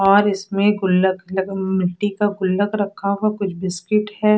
और इसमे गुल्लक लक मिट्टी का गुल्लक रखा हुआ कुछ बिस्किट हैं।